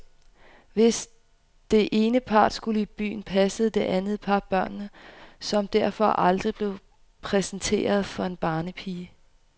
Hvis det ene par skulle i byen, passede det andet par børnene, som derfor aldrig blev præsenteret for en barnepige.